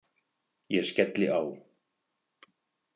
Ég skelli á.